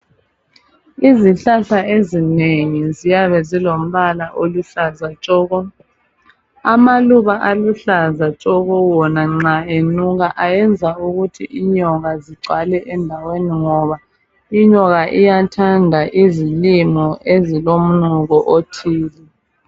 Izihlahla ezinengi ziyabe zilombala oluhlaza tshoko amaluba aluhlaza tshoko wona nxa enuka ayenza ukuthi inyoka zigcwale endaweni ngoba inyoka iyathanda izilimo ezilomnuko othile.